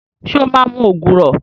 Ṣé o máa mu ògùrọ̀?